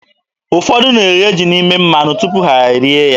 Ụfọdụ na-eghe ji n'ime mmanụ tupu ha e rie ya.